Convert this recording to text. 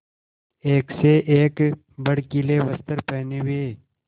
एक से एक भड़कीले वस्त्र पहने हुए